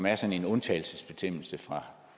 er sådan en undtagelsesbestemmelse fra